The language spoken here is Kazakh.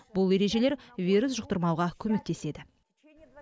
бұл ережелер вирус жұқтырмауға көмектеседі